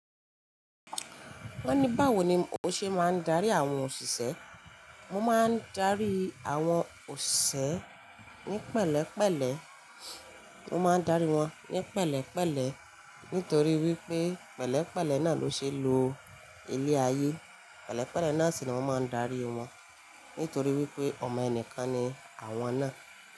Wọ́n ní báwo ni o ṣe máa ń darí àwọn òṣìṣẹ́? Mo máa ń darí àwọn òṣìṣẹ́ ní pẹ̀lẹ́pẹ̀lẹ́. Mo máa ń darí wọn ní pẹ̀lẹ́pẹ̀lẹ́ nítorí wípé pẹ̀lẹ́pẹ̀lẹ́ náà ló ṣe lo ilé ayé. Pẹ̀lẹ́pẹ̀lẹ́ náà sì ni wọn máa ń darí wọn nítorí wípé ọmọ ẹnìkan ni àwọn náà.